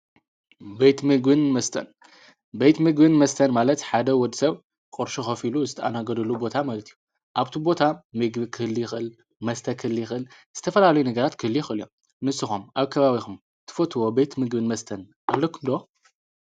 በትምግን መስተን በት ሚግን መስተር ማለት ሓደ ወድ ሰብ ቖርሹ ኸፊሉ ዝተኣናገዱሉ ቦታ መለት ዩ ኣብቲ ቦታ ሚግቢ ክልኽል መስተክልይኽል ዝተፈልሉይ ነገራት ክልይኽል እዮም ንስኾም ኣብ ከባቢኹም ትፈትዎ ቤት ምግውን መስተን ኣለኩምዶ?